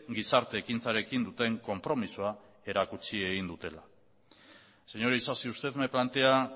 gizarte ekintzarekin duten konpromisoa erakutsi egin dute señor isasi usted me plantea